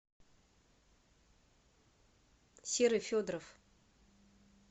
серый федоров